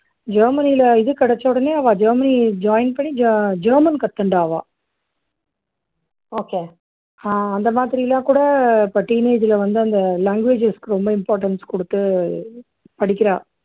ஜெர்மனியில இது கிடைச்ச உடனே அவா ஜெர்மனி join பண்ணி ஜ ஜெர்மன் கத்துண்டா அவா okay அந்த மாதிரி எல்லாம் கூட இப்போ teenage ல வந்து அந்த languages க்கு ரொம்ப importance கொடுத்து படிக்கிறா